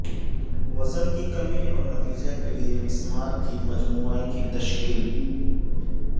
وزن کی کمی اور نتیجہ کے لئے مسمار کی مجموعی کی تشکیل